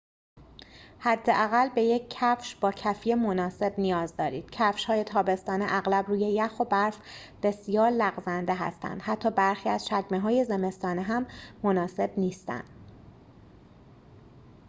حداقل به یک کفش با کفی مناسب نیاز دارید کفش‌های تابستانه اغلب روی یخ و برف بسیار لغزنده هستند حتی برخی از چکمه‌های زمستانه هم مناسب نیستند